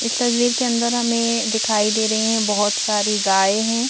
इस तस्वीर के अंदर हमें दिखाई दे रहे हैं बहुत सारी गाय हैं।